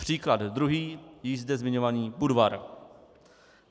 Příklad druhý, již zde zmiňovaný Budvar.